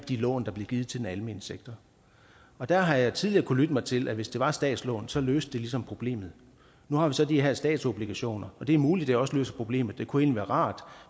de lån der blev givet til den almene sektor der har jeg tidligere kunnet lytte mig til at hvis det var statslån så løste det ligesom problemet nu har vi så de her statsobligationer og det er muligt at det også løser problemet det kunne egentlig være rart